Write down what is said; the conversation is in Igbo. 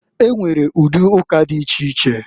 E nwere ụdị ụka dị iche iche.